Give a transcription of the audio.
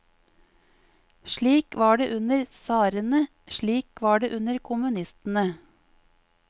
Slik var det under tsarene, slik var det under kommunistene.